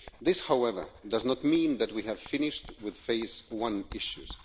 This, however, does not mean that we have finished with Phase 1 issues.